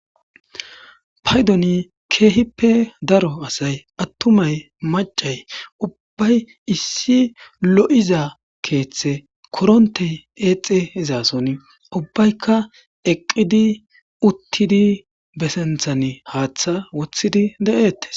paydoni keehippe daro asay attumay macay ubbay issi lo7iza keeththe korontey eexe izaason ubbaykka eqqidi uttidi besenthan haaththa wothidi de7eettes